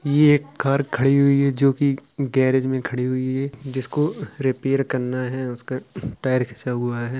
ये एक कार खड़ी हुई है जो कि गैरेज मे खड़ी हुई है जिसको रिपेयर करना है उसका टायर घिसा हुआ है।